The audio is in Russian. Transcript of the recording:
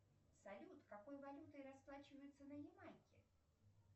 салют какой валютой расплачиваются на ямайке